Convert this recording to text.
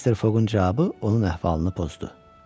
Amma Mr. Foqun cavabı onun əhvalını pozdu.